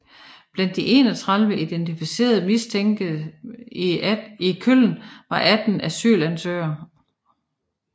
Blandt de 31 identificerede mistænkte i Köln var 18 asylansøgere